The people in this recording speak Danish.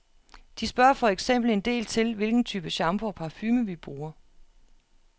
De spørger for eksempel en del til hvilken type shampoo og parfume, vi bruger.